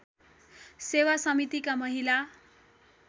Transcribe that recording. सेवा समितिका महिला